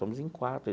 Somos em quatro.